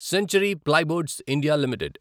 century plyboards India limited